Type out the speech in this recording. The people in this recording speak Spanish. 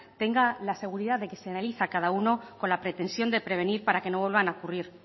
tenga la seguridad de que se analiza cada uno con la pretensión de prevenir para que no vuelvan a ocurrir